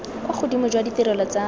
kwa godimo jwa ditirelo tsa